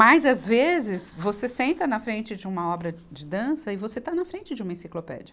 Mas, às vezes, você senta na frente de uma obra de dança e você está na frente de uma enciclopédia.